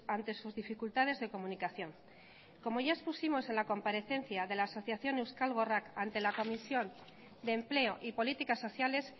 ante sus dificultades de comunicación como ya expusimos en la comparecencia de la asociación euskal gorrak ante la comisión de empleo y políticas sociales